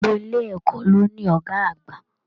Gbogbo ilé ẹ̀kọ́ ló ní ọgá àgbà.